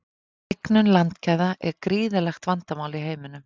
Hnignun landgæða er gríðarlegt vandamál í heiminum.